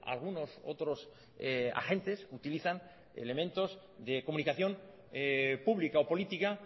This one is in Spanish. algunos otros agentes utilizan elementos de comunicación pública o política